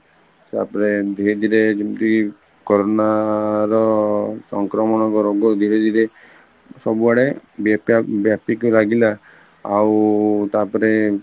ତାପରେ ଏମିତ ହେଇକିରି ଯେମିତି corona ର ସଂକ୍ରମଣ ରୋଗ ଧୀରେ ଧୀରେ ସବୁ ଆଡେ ଵ୍ୟଵପିକି ଲାଗିଲା ଆଉ ତାପରେ